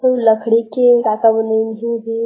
अऊ लड़की के का-का बनाइन हे एदे--